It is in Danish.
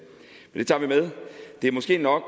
måske nok